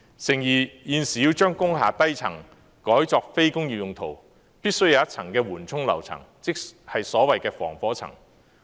誠然，現時要將工廈低層改作非工業用途，必須有一層緩衝樓層，即所謂防火層。